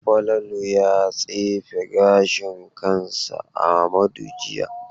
Falalu ya tsefe gashin kansa Amadu jiya.